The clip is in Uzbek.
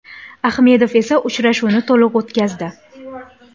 Ahmedov esa uchrashuvni to‘liq o‘tkazdi.